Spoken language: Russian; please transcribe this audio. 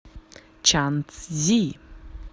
чанцзи